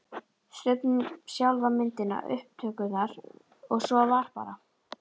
Stubbnum, sjálfa myndina, upptökurnar og svo var bara